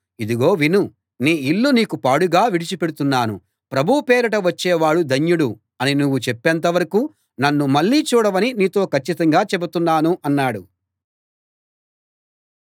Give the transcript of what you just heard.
ఇదిగో విను నీ ఇల్లు నీకు పాడుగా విడిచి పెడుతున్నాను ప్రభువు పేరిట వచ్చే వాడు ధన్యుడు అని నువ్వు చెప్పేంతవరకూ నన్ను మళ్ళీ చూడవని నీతో కచ్చితంగా చెబుతున్నాను అన్నాడు